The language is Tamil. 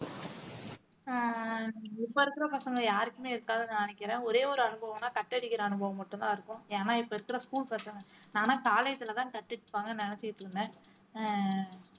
ஆஹ் இப்ப இருக்கற பசங்க யாருக்குமே இருக்காதுன்னு நினைக்கிறேன் ஒரே ஒரு அனுபவம்னா cut அடிக்கிற அனுபவம் மட்டும்தான் இருக்கும் ஏன்னா இப்ப இருக்கற school பசங்க college லதான் கட்டிட்டு இருப்பாங்கன்னு நினைச்சிட்டு இருந்தேன்